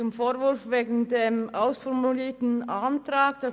Zum Vorwurf, der Antrag sei bereits ausformuliert, Folgendes: